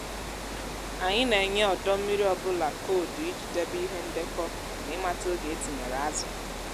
anyị na-enye ọdọ mmiri ọ bụla koodu iji debe ihe ndekọ na ịmata oge e tinyere azụ.